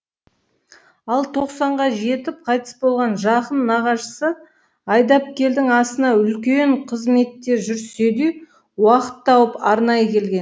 ал тоқсанға жетіп қайтыс болған жақын нағашысы айдапкелдің асына үлкен қызметте жүрсе де уақыт тауып арнайы келген